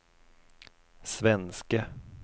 svenske